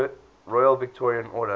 royal victorian order